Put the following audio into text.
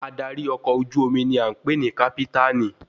Adarí ọkọ̀ ojú omi ni a ń pè ní kápítànì